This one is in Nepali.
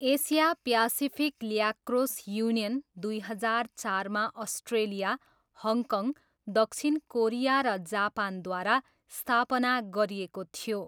एसिया प्यासिफिक ल्याक्रोस युनियन दुई हजार चारमा अस्ट्रेलिया, हङकङ, दक्षिण कोरिया र जापानद्वारा स्थापना गरिएको थियो।